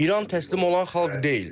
İran təslim olan xalq deyil.